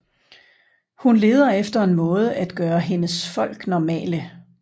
Hun leder efter en måde at gøre hendes folk normale